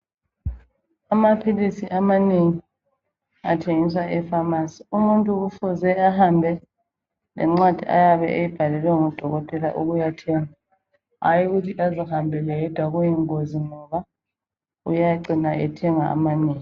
Amaphilisi amanengi athengiswa efamasi. Umuntu kufuze ahambe lencwadi ayabe eyibhalelwe ngudokotela ukuyathenga hayi ukuthi azihambele yedwa ngoba kuyingozi uyacina ethenga amanengi